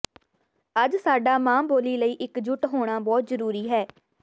ਅੱਜ ਸਾਡਾ ਮਾਂ ਬੋਲੀ ਲਈ ਇਕ ਜੁੱਟ ਹੋਣਾ ਬਹੁਤ ਜਰੂਰੀ ਹੈ